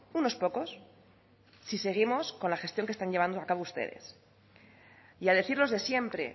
unos pocos si seguimos con la gestión que están llevando a cabo ustedes y a decir los de siempre